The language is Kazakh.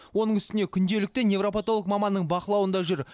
оның үстіне күнделікті неврапотолог маманның бақылауында жүр